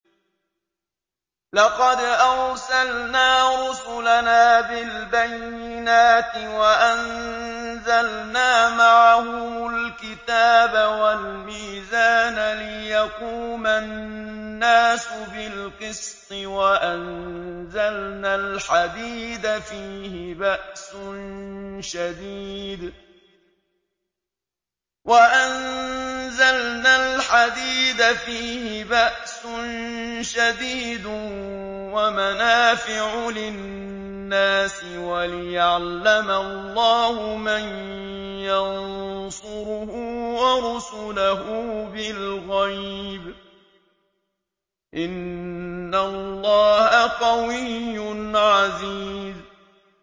لَقَدْ أَرْسَلْنَا رُسُلَنَا بِالْبَيِّنَاتِ وَأَنزَلْنَا مَعَهُمُ الْكِتَابَ وَالْمِيزَانَ لِيَقُومَ النَّاسُ بِالْقِسْطِ ۖ وَأَنزَلْنَا الْحَدِيدَ فِيهِ بَأْسٌ شَدِيدٌ وَمَنَافِعُ لِلنَّاسِ وَلِيَعْلَمَ اللَّهُ مَن يَنصُرُهُ وَرُسُلَهُ بِالْغَيْبِ ۚ إِنَّ اللَّهَ قَوِيٌّ عَزِيزٌ